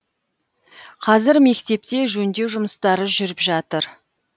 қазір мектепте жөндеу жұмыстары жүріп жатыр